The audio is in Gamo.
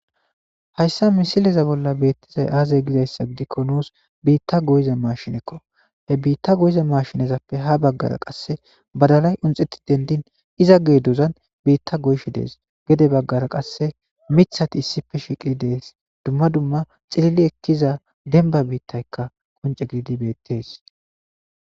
Hayssa misileza bolla beettizay aazey gizayssa gidikko nuus biitta goyiza mashinekko he biitta goyiza mashinezappe ha baggara qasse badalay unxeti dendin iza gee duzan biitta goyshe dees gede baggara qasse mithati issife shiiqi dees dumma dumma xilili ekkiza denba biittaykka qonce gidi beettees.